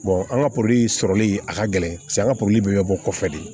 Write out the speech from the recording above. an ka poro sɔrɔli a ka gɛlɛn paseke an ka pori bɛ bɔ kɔfɛ de